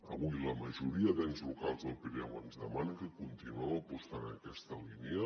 avui la majoria d’ens locals del pirineu ens demanen que continuem apostant en aquesta línia